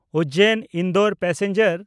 Ujjain Indore passenger